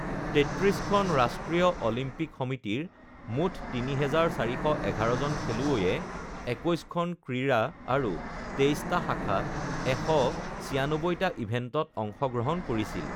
৩৩ খন ৰাষ্ট্ৰীয় অলিম্পিক সমিতিৰ মুঠ ৩,৪১১ জন খেলুৱৈয়ে ২১ খন ক্ৰীড়া আৰু ২৩ টা শাখাত ১৯৬ টা ইভেণ্টত অংশগ্ৰহণ কৰিছিল